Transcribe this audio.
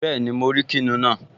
Bẹ́ẹ̀ni, mo rí kìnìún náà